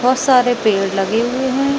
बहोत सारे पेड़ लगे हुए है।